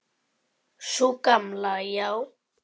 Sú gamla, já.